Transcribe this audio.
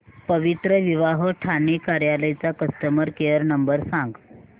पवित्रविवाह ठाणे कार्यालय चा customer care number सांग